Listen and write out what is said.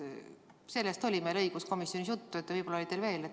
Sellest oli meil õiguskomisjonis juttu, võib-olla oli teil ka.